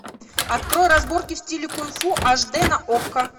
открой разборки в стиле кунг фу аш д на окко